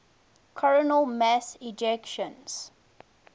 coronal mass ejections